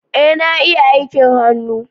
Ee na ia aikin hannu